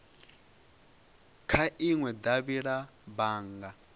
kha inwe davhi la bannga